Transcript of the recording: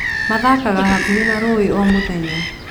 Maathakaga hakuhĩ na rũũĩ o mũthenya.